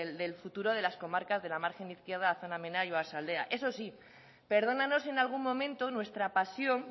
del futuro de las comarcas de la margen izquierda zona minera y oarsaldea eso sí perdónanos si en algún momento nuestra pasión